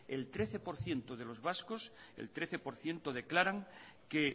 el trece por ciento de los vascos el trece por ciento declaran que